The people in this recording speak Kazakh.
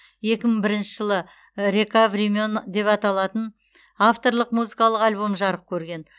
екі мың бірінші жылы река времен деп аталатын авторлық музыкалық альбомы жарық көрген